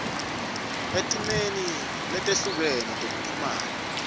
etimeni letehlukene tekuchumana